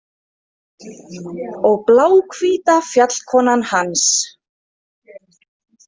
Og bláhvíta fjallkonan hans.